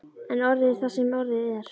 En orðið er það sem orðið er.